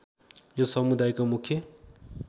यो समुदायको मुख्य